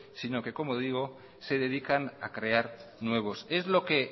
sino que como digo se dedican a crear nuevos es lo que